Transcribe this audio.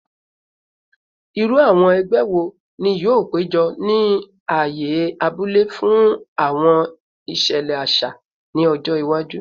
Iru awọn ẹgbẹ wo ni yoo pejọ ni aaye abule fun awọn iṣẹlẹ aṣa ni ọjọ iwaju?